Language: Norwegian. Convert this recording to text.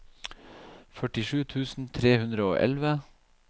førtisju tusen tre hundre og elleve